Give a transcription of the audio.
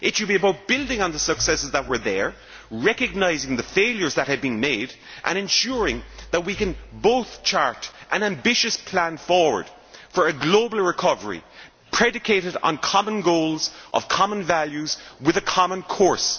It should be about building on the successes that were there, recognising the failures that had been made and ensuring that we can both chart an ambitious plan forward for a global recovery predicated on common goals of common values with a common course.